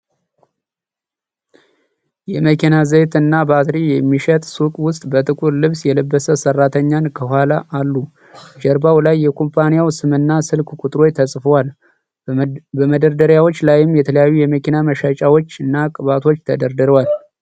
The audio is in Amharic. የመኪና ዘይት እና ባትሪ የሚሸጥ ሱቅ ውስጥ በጥቁር ልብስ የለበሰ ሠራተኛን ከኋላ አሉ። ጀርባው ላይ የኩባንያው ስምና ስልክ ቁጥሮች ተጽፈዋል። በመደርደሪያዎች ላይም የተለያዩ የመኪና መለዋወጫዎች እና ቅባቶች ተደርድረዋል።